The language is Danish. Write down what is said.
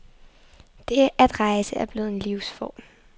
Det at rejse er blevet en livsform.